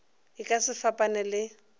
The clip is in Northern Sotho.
e ka se fapane le